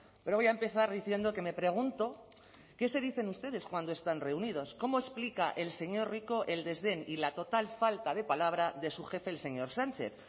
pero voy a empezar diciendo que me pregunto qué se dicen ustedes cuando están reunidos cómo explica el señor rico el desdén y la total falta de palabra de su jefe el señor sánchez